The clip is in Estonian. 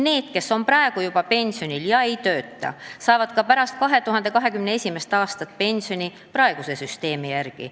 Need, kes on praegu juba pensionil ega tööta, saavad ka pärast 2021. aastat pensioni praeguse süsteemi järgi.